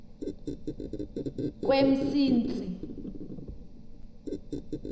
kwemsintsi